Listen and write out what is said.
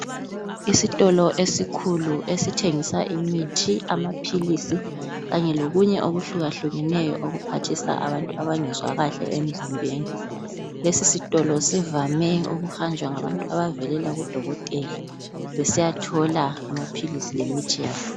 Isitolo esikhulu esithengisa imithi, amaphilisi kanye lokunye okuhlukahlukeneyo okuphathisa abantu abangezwa kahle emzimbeni. Lesi sitolo sivame ukuhanjwa ngabantu abavelela kudokotela besiyathola amaphilisi lemithi yabo.